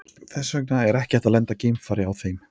Þess vegna er ekki hægt að lenda geimfari á þeim.